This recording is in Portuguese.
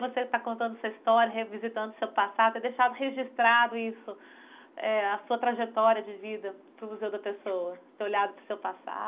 Você está contando sua história, revisitando seu passado, ter deixado registrado isso, eh a sua trajetória de vida para o Museu da Pessoa, ter olhado para o seu passado?